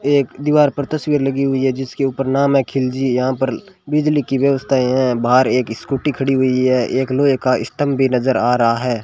एक दीवार पर तस्वीर लगी हुई है जिसके ऊपर नाम है खिलजी यहां पर बिजली की व्यवस्थाएं है बाहर एक स्कूटी खड़ी हुई है एक लोहे का स्तंभ भी नजर आ रहा है।